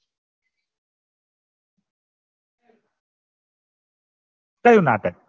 કઈ માટે